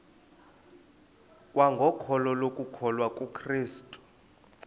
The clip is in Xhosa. kwangokholo lokukholwa kukrestu